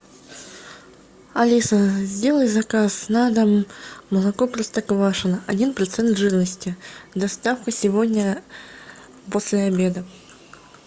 алиса сделай заказ на дом молоко простоквашино один процент жирности доставка сегодня после обеда